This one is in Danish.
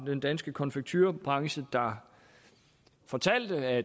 den danske konfekturebranche der fortalte at